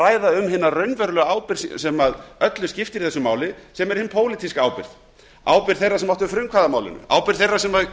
ræða hina raunverulegu ábyrgð sem öllu skiptir í þessu máli sem er hin pólitísku ábyrgð ábyrgð þeirra sem áttu frumkvæði að málinu ábyrgð þeirra sem